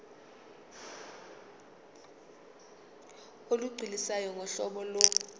olugculisayo ngohlobo lo